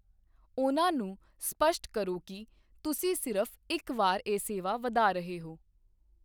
ਉਹਨਾਂ ਨੂੰ ਸਪਸ਼ਟ ਕਰੋ ਕਿ ਤੁਸੀਂ ਸਿਰਫ਼ ਇੱਕ ਵਾਰ ਇਹ ਸੇਵਾ ਵਧਾ ਰਹੇ ਹੋ।